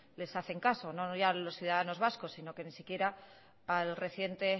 les hacen caso no ya a los ciudadanos vascos sino que no siquiera al reciente